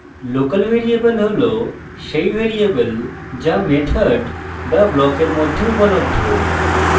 local variable হল সেই variable যা method বা ব্লকের মধ্যে উপলব্ধ